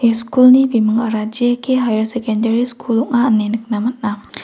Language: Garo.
ia school-ni bimingara J_K haiar sekendari skul ong·a ine nikna man·a.